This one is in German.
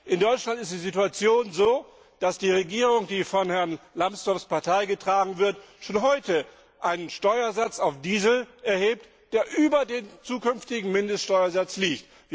In Deutschland ist die Situation so, dass die Regierung, die von Herrn Lambsdorffs Partei getragen wird, schon heute einen Steuersatz auf Diesel erhebt, der über dem zukünftigen Mindeststeuersatz liegt.